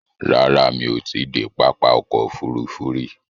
Rárá, mí ò ti i dé pápá ọkò òfurufú rí.